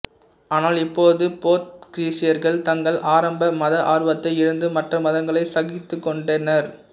ஆனால் இப்போது போர்த்துகீசியர்கள் தங்கள் ஆரம்ப மத ஆர்வத்தை இழந்து மற்ற மதங்களை சகித்துக்கொண்டனர்